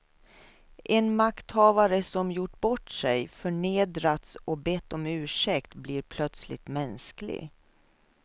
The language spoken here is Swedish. En makthavare som gjort bort sig, förnedrats och bett om ursäkt blir plötsligt mänsklig.